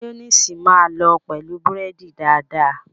Máyóníìsì máa lọ pẹ̀lú búrẹ́dì dáadáa.